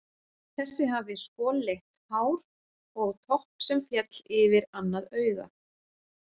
Þessi hafði skolleitt hár og topp sem féll yfir annað augað.